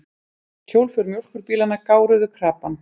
Hjólför mjólkurbílanna gáruðu krapann.